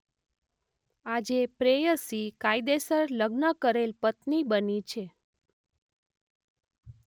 આજે પ્રેયસી કાયદેસર લગ્ન કરેલ પત્ની બની છે.